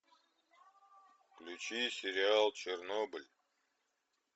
включи сериал чернобыль